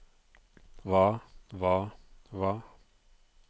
hva hva hva